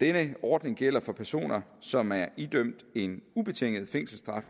denne ordning gælder for personer som er idømt en ubetinget fængselsstraf